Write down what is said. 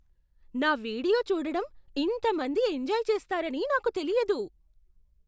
నా వీడియో చూడడం ఇంత మంది ఎంజాయ్ చేస్తారని నాకు తెలియదు!